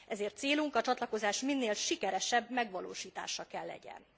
Ezért célunk a csatlakozás minél sikeresebb megvalósítása kell legyen.